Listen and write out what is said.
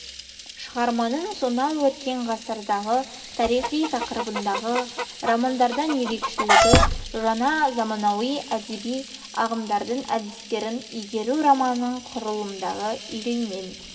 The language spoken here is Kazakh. шығарманың сонау өткен ғасырдағы тарихи тақырыптағы романдардан ерекшелігі жаңа заманауи әдеби ағымдардың әдістерін игеруі романның құрылымындағы үреймен